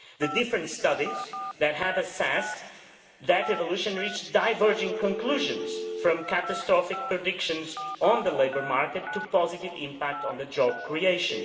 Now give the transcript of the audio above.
The different studies that have assessed that evolution reached diverging conclusions from catastrophic predictions on the labour market to a positive impact on job creation.